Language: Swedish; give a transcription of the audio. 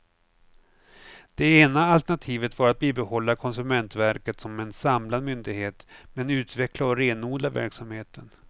Det ena alternativet var att bibehålla konsumentverket som en samlad myndighet men utveckla och renodla verksamheten.